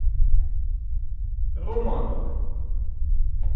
романовы